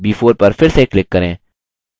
b4 पर फिर से click करें